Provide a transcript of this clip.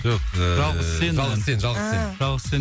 жоқ ыыы жалғыз сен жалғыз сен жалғыз сен ааа жалғыз сен